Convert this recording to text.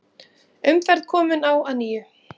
Umferð komin á að nýju